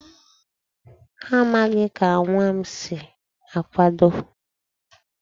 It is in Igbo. Ha amaghị ka nwa m si na-akwado.